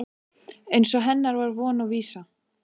Eins og hennar var von og vísa.